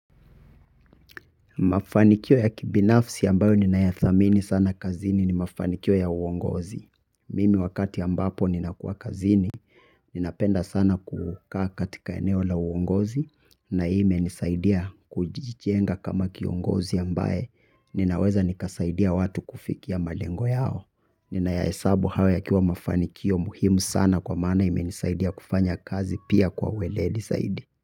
Mafanikio ya kibinafsi ambayo ninayathamini sana kazini ni mafanikio ya uongozi. Mimi wakati ambapo ninakuwa kazini ninapenda sana kukaa katika eneo la uongozi na hii imenisaidia kujijenga kama kiongozi ambaye ninaweza nikasaidia watu kufikia malengo yao. Ninayahesabu hayo yakiwa mafanikio muhimu sana kwa maana imenisaidia kufanya kazi pia kwa uweledi zaidi.